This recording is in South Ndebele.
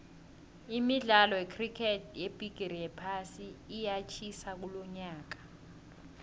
imidkalo yecricket yebhigiri yephasi iyatjhisa kulonyaka